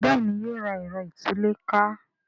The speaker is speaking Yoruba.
Béèni yóò rà Ẹ̀rọ ìtúlẹ̀ká